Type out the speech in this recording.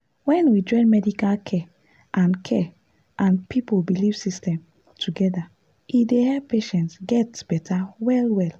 when we join medical care and care and people belief system together e dey help patients get better well-well.